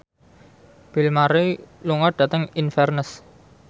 Bill Murray lunga dhateng Inverness